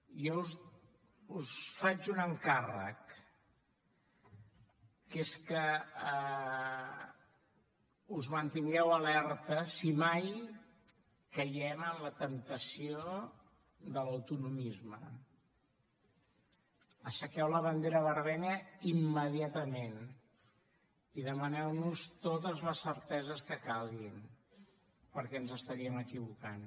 jo us faig un encàrrec que és que us mantingueu alerta si mai caiem en la temptació de l’autonomisme aixequeu la bandera vermella immediatament i demaneu nos totes les certeses que calguin perquè ens estaríem equivocant